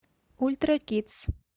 ультракидс